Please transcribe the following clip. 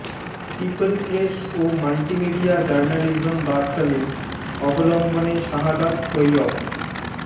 people press ও multimedia journalism Berkeley অবলম্বনে শাহাদাৎ তৈয়ব